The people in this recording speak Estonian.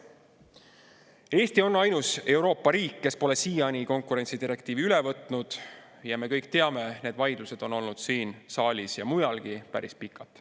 Eesti on ainus Euroopa riik, kes pole siiani konkurentsidirektiivi üle võtnud, ja me kõik teame, et need vaidlused on olnud siin saalis ja mujalgi päris pikalt.